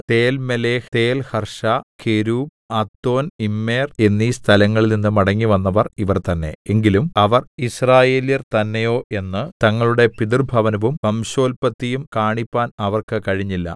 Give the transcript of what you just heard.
Telmelah Telharsha Cherub Addon Immer എന്നീ സ്ഥലങ്ങളിൽനിന്ന് മടങ്ങിവന്നവർ ഇവർ തന്നേ എങ്കിലും അവർ യിസ്രായേല്യർ തന്നെയോ എന്ന് തങ്ങളുടെ പിതൃഭവനവും വംശോല്പത്തിയും കാണിപ്പാൻ അവർക്ക് കഴിഞ്ഞില്ല